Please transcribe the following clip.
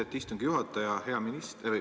Austet istungi juhataja!